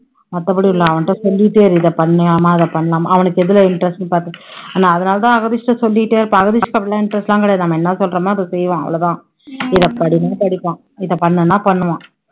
மத்தபடி இல்ல, அவன்கிட்ட சொல்லிட்டே இரு இதை பண்ணலாமா அதை பண்ணலாமா அவனுக்கு எதுல interest ன்னு பாத்து ஆனா அதனால தான் அகதீஷ் கிட்ட சொல்லிட்டே இருப்பேன் அகதீஷ்க்கு interest லாம் கிடையாது நம்ம என்ன சொல்றோமோ அதை செய்வான், அவ்ளோ தான் இதை படின்னா படிப்பான் இதை பண்ணுன்னா பண்ணுவான்